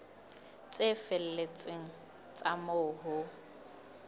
tse felletseng tsa moo ho